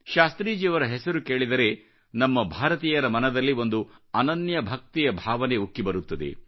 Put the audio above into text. ಶಾಸ್ತ್ರೀಜಿಯವರ ಹೆಸರು ಕೇಳಿದರೆ ನಮ್ಮ ಭಾರತೀಯರ ಮನದಲ್ಲಿ ಒಂದು ಅನನ್ಯ ಭಕ್ತಿಯ ಭಾವನೆ ಉಕ್ಕಿ ಬರುತ್ತದೆ